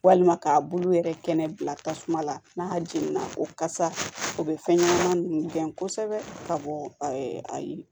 Walima k'a bulu yɛrɛ kɛnɛ bila tasuma la n'a jenina o kasa o bɛ fɛn ɲɛnama ninnu gɛn kosɛbɛ ka bɔ ayi